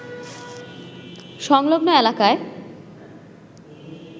সংলগ্ন এলাকায়